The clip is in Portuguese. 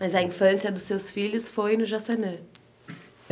Mas a infância dos seus filhos foi no Jaçanã?